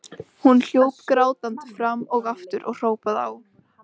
Hún hljóp grátandi fram og aftur og hrópaði á